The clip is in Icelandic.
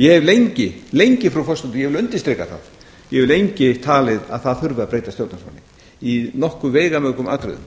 ég hef lengi frú forseti ég vil undirstrika það ég hef lengi talið að það þurfi að breyta stjórnarskránni í nokkuð veigamörgum atriðum